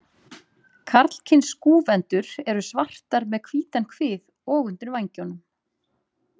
Karlkyns skúfendur eru svartar með hvítan kvið og undir vængjunum.